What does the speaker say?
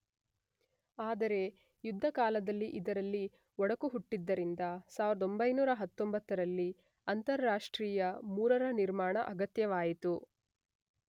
ಆದರೆ ಯುದ್ಧಕಾಲದಲ್ಲಿ ಇದರಲ್ಲಿ ಒಡಕು ಹುಟ್ಟಿದ್ದರಿಂದ 1919ರಲ್ಲಿ ಅಂತಾರಾಷ್ಟ್ರೀಯ III ರ ನಿರ್ಮಾಣ ಅಗತ್ಯವಾಯಿತು.